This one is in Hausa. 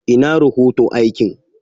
Ina rohoto aikin?